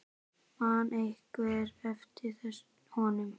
Man einhver eftir honum?